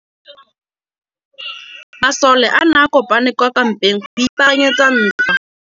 Masole a ne a kopane kwa kampeng go ipaakanyetsa ntwa.